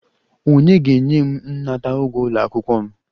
Ònye ga-enye m nnata ụgwọ ụlọ akwụkwọ m?